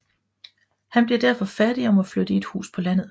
Han bliver derfor fattig og må flytte i et hus på landet